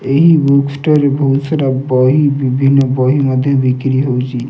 ଏହି book store ରେ ବହୁସାର୍ ବହି ବିଭିନ୍ନ ବହି ମଧ୍ୟ ବିକ୍ରି ହୋଉଚି।